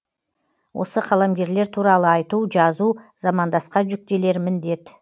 осы қаламгерлер туралы айту жазу замандасқа жүктелер міндет